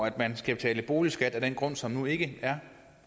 at man skal betale boligskat af den grund som nu ikke er